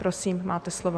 Prosím, máte slovo.